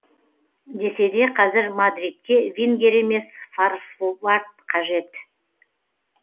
десе де қазір мадридке вингер емес форвард қажет